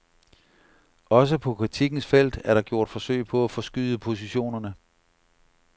Også på kritikkens felt er der gjort forsøg på at forskyde positionerne.